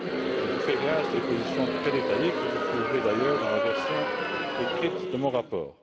Je vous fais grâce des positions très détaillées, que vous trouverez d'ailleurs dans la version écrite de mon rapport.